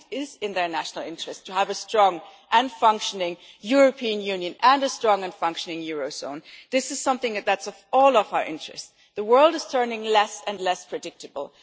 Actually it is in their national interests to have a strong and functioning European Union and a strong and functioning eurozone. This is something that is in all of our interests. The world is turning less and less predictable.